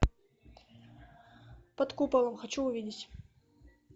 под куполом хочу увидеть